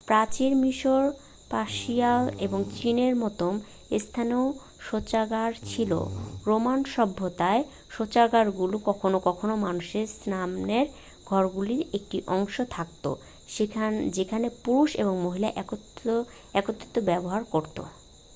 প্রাচীন মিশর পার্সিয়া এবং চীনের মতো স্থানেও শৌচাগার ছিল রোমান সভ্যতায় শৌচাগারগুলি কখনও কখনও মানুষের স্নানের ঘরগুলির একটি অংশে থাকতো যেখানে পুরুষ এবং মহিলা একত্রে ব্যবহার করতো